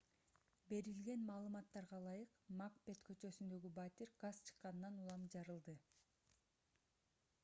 берилген маалыматтарга ылайык макбет көчөсүндөгү батир газ чыкканынан улам жарылды